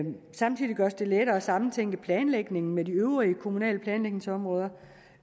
samtidig gøres det lettere at sammentænke planlægningen med de øvrige kommunale planlægningsområder